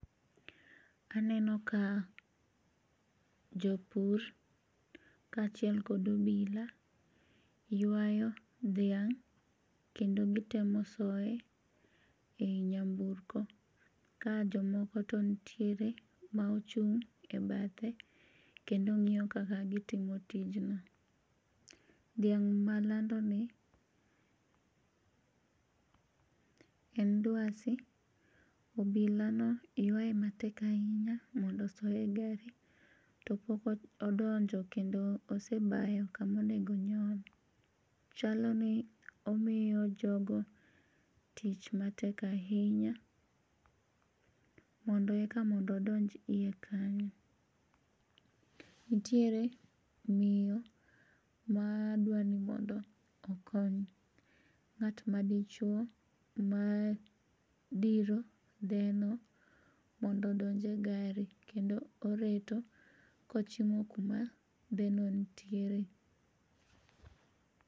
Aneno ka jopur kachiel kod obila ywayo dhiang' kendo gitemo soye e yi nyamburko, ka jomoko to nitiere ma ochung' e bathe kendo ng'iyogi kaka gitimo tijno. Dhiang' malandoni en duasi, obilano ywaye matek ahinya mondo osoye gari to pokodonjo kendo osebayo kama onigo onyon, chaloni omiyo jogo tich matek ahinya mondo eka miyo donj hiye kanyo, nitiere miyo ma dwani mondo okony ng'at ma dichuo madhiro dheno mondo donje gari kendo oreto ka ochimo kuma dheno nitiere.